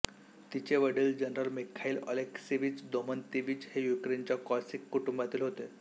तिचे वडील general Mikhail Alekseyevich Domontovich हे युक्रेनच्या कोसॅक कुटुंबातील होते